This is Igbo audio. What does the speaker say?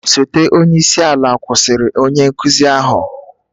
Osote onye isi ala kwụsịtụrụ onye nkuzi ahụ